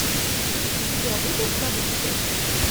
у тебя будет залив счастья